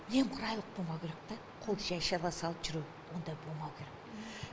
немқұрайлылық болмау керек та қолды жай жаба салып жүру ондай болмау керек